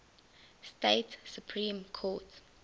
state supreme court